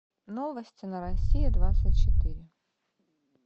новости на россия двадцать четыре